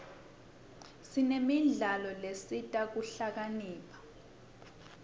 sinemidlalo lesita kuhlakanipha